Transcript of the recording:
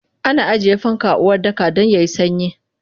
Ana ajiye fanka a Uwardaka dan yayi sanyi